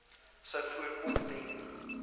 sou voorkom ten